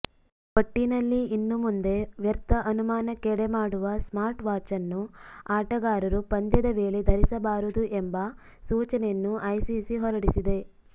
ಒಟ್ಟಿನಲ್ಲಿ ಇನ್ನುಮುಂದೆ ವ್ಯರ್ಥ ಅನುಮಾನಕ್ಕೆಡೆಮಾಡುವ ಸ್ಮಾರ್ಟ್ ವಾಚನ್ನು ಆಟಗಾರರು ಪಂದ್ಯದ ವೇಳೆ ಧರಿಸಬಾರದು ಎಂಬ ಸೂಚನೆಯನ್ನು ಐಸಿಸಿ ಹೊರಡಿಸಿದೆ